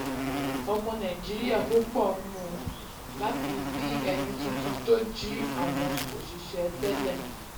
ọmọ nàìjíríà púpọ̀ nùn um láti rí ẹni tuntun tó jí àwọn um òṣìṣẹ́ tẹ́lẹ̀.